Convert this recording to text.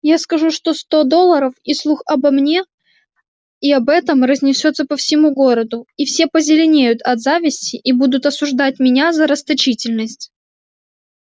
я скажу что сто долларов и слух обо мне и об этом разнесётся по всему городу и все позеленеют от зависти и будут осуждать меня за расточительность